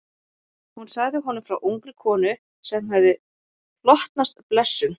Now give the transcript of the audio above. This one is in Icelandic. Hún sagði honum frá ungri konu sem hafði hlotnast blessun.